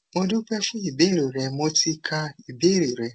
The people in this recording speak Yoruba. mo dúpẹ fún ìbéèrè rẹ mo ti ka ìbéèrè rẹ